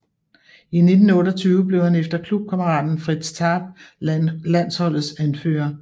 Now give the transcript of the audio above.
I 1928 blev han efter klubkammeraten Fritz Tarp landsholdets anfører